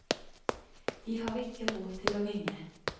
De har ikke råd til å ringe.